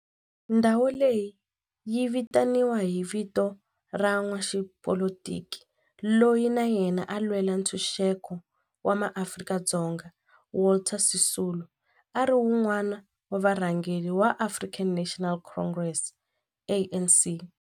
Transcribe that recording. Ndhawo leyi yi vitaniwa hi vito ra n'watipolitiki loyi na yena a lwela ntshuxeko wa maAfrika-Dzonga Walter Sisulu, a ri wun'wana wa varhangeri va African National Congress, ANC.